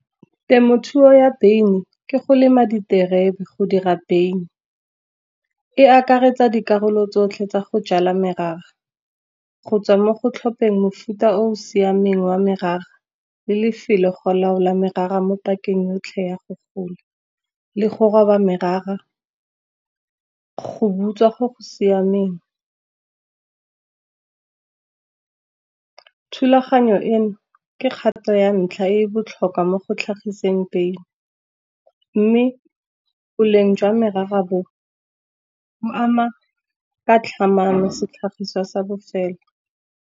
Temothuo ya beine ke go lema diterebe go dira beine. E akaretsa dikarolo tsotlhe tsa go jala merara, go tswa mo go tlhopha mofuta o o siameng wa merara le lefelo go laola merara mo pakeng yotlhe ya go gola. Le go roba merara go butswa go go siameng, thulaganyo eno ke kgato ya ntlha e botlhokwa mo go tlhagiseng beine. Mme boleng jwa merara, bo ama ka tlhamano setlhagiswa sa bofelo.